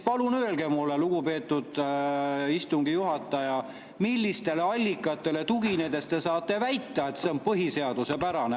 Palun öelge mulle, lugupeetud istungi juhataja, millistele allikatele tuginedes te saate väita, et see on põhiseaduspärane.